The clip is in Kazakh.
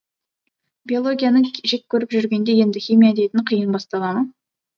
биологияны жек көріп жүргенде енді химия дейтін қиын бастала ма